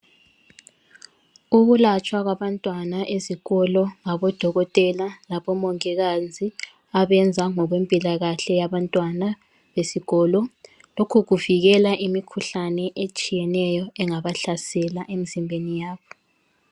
Ukulatshwa kwabantwana ezikolo ngabodokotela labomongikazi abenza ngokwempilakahle yabantwana besikolo. Lokhu kuvikela imikhuhlane etshiyeneyo engabahlasela emizimbeni yabo.